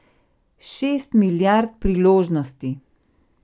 Šest milijard priložnosti!